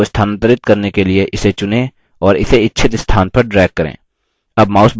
एक object को स्थानांतरित करने के लिए इसे चुनें और इसे इच्छित स्थान पर drag करें